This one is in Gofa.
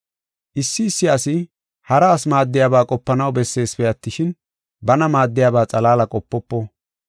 Issi issi asi, hara asi maaddiyaba qopanaw besseesipe attishin, bana maaddiyaba xalaala qopofo.